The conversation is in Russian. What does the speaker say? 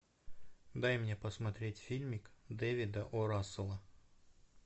дай мне посмотреть фильмик дэвида о расселла